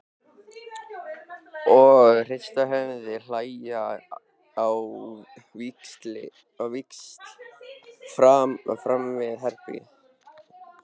Og hrista höfuðið og hlæja á víxl framan við herbergið.